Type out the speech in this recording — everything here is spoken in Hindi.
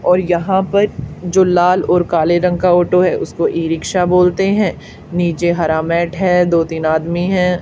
और यहां पर जो लाल और काले रंग का ऑटो है उसको ई रिक्शा बोलते हैं नीचे हरा मेट है दो तीन आदमी हैं।